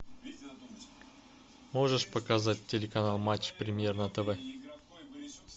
можешь показать телеканал матч премьер на тв